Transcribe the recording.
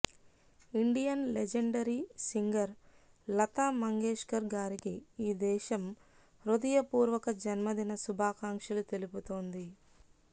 Indian legendary singer Lata Mangeshkar గారికి ఈ దేశం హృదయ పూర్వక జన్మదిన శుభాకాంక్షలు తెలుపుతోంది